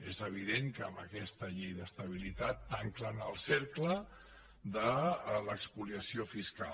és evident que amb aquesta llei d’estabilitat tanquen el cercle de l’espoliació fiscal